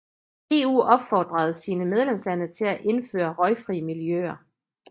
EU opfordede sine medlemslande til at indføre røgfri miljøer